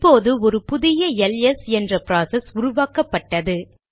இப்போது ஒரு புதிய எல்எஸ் என்ற ப்ராசஸ் உருவாக்கப்பட்டது